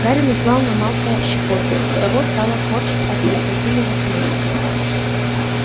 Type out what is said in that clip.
гарри наслал на малфоя щекотку и того стало корчить от неукротимого смеха